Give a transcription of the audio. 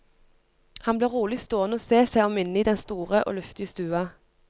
Han ble rolig stående og se seg om inne i den store og luftige stua.